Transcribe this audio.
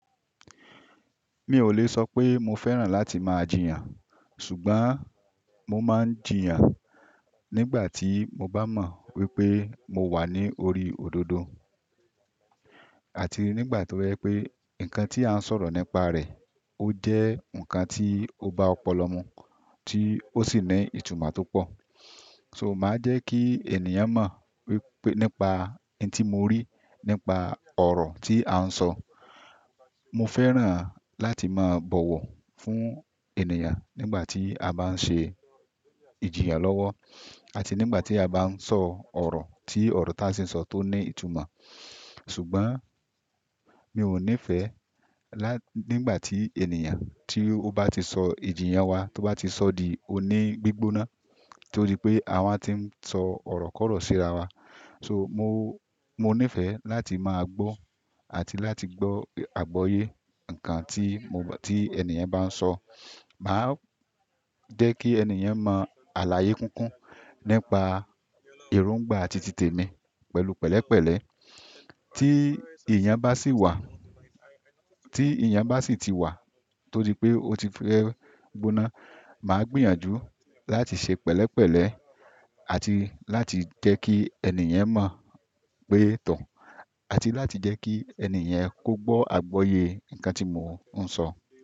Mi ò lè sọ pé mo fẹ́ràn láti máa jìyàn, ṣùgbọ́n mo máa ń jìyàn nígbà tí mo bá mọ wípé mo wà ní orí òdodo àti nígbà tó jẹ́ pé nǹkan tí a ń sọ̀rọ̀ nípa rẹ̀ ó jẹ́ ǹkan tí ó bá ọpọlọ mu tí ó sì ní ìtumọ̀ tó pọ̀. So, màá jẹ́ kí ènìyàn mọ wípé nípa tí mo rí, nípa ọ̀rọ̀ tí a ń sọ. Mo fẹ́ràn láti máa bọ̀wọ̀ fún ènìyàn nígbà tí a bá ń ṣe ìjìyà lọ́wọ́ àti nígbà tí a bá ń sọ ọ̀rọ̀ tí ọ̀rọ̀ tí a sì ń sọ tó ní ìtumọ̀. Ṣùgbọ́n mi ò nífẹẹ lá nígbà tí ènìyàn tí ó bá ti sọ ìjìyà wa tó bá ti sọ di oní gbígbóná, tó di pé àwa ti ń sọ ọ̀rọ̀ kọ̀rọ̀ sí ara wa. So, mo, mo nífẹ̀ẹ́ láti máa gbọ́ àti láti gbọ́ àgbọ́yé ǹkan tí mo, tí ènìyàn bá ń sọ. Màá jẹ́ kí ènìyàn mọ àlàyé kúnkún nípa èróngbà àti tìtẹ̀mi pẹ̀lú pẹ̀lẹ́pẹ̀lẹ́ tí ènìyàn bá sì wà, tí èèyàn bá sì ti wà tó di pé ó ti fẹ́ gbóná, màá gbìyànjú láti ṣe pẹ̀lẹ́pẹ̀lẹ́ àti láti jẹ́ kí ènìyàn mọ̀ pé to àti láti jẹ́ kí ènìyàn kó gbọ́ àgbọyé ǹkan tí mò ń sọ.